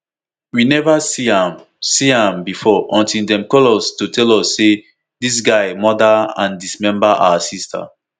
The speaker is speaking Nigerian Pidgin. we neva see am see am bifor until dem call us to tell us say dis guy murder and dismember our sister